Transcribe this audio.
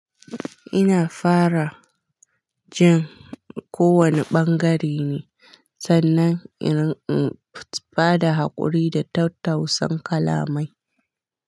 Ina fara jin ko wane bangare ne sannan in in bada haƙuri da tautausan kalamai.